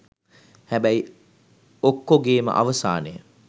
හැබැයි ඔක්කොගේම අවසානය